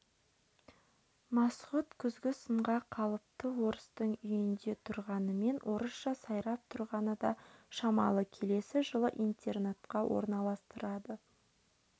масғұт күзгі сынға қалыпты орыстың үйінде тұрғанымен орысша сайрап тұрғаны да шамалы келесі жылы интернатқа орналастырады